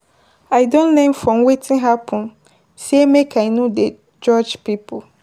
i don learn from wetin hapen say make i no dey judge pipo